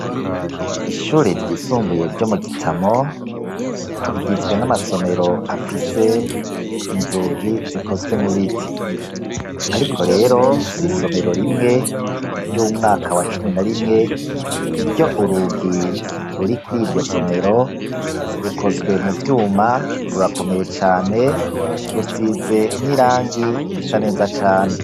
Ishure ryisumbuye ryo mu Gitamo, rigizwe n'amasomero afise inzugi zikozwe mu biti. Ariko rero hari isomero rimwe ry'umwaka wa cumi na rimwe ryo urugi ruri kuri iryo somero, rukozwe mu vyuma, rurakomeye cane, rusize n'irangi risa neza cane.